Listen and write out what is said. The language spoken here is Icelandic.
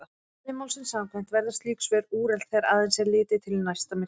Eðli málsins samkvæmt verða slík svör úrelt þegar aðeins er litið til næsta myrkva.